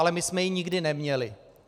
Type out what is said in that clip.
Ale my jsme ji nikdy neměli.